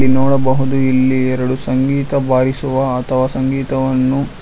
ನೋಡಬಹುದು ಇಲ್ಲಿ ಎರಡು ಸಂಗೀತ ಬಾರಿಸುವ ಅಥವಾ ಸಂಗೀತವನ್ನು --